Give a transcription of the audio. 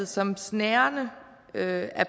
som snærende af